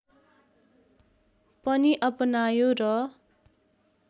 पनि अपनायो र